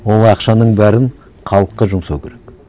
ол ақшаның бәрін халыққа жұмсау керек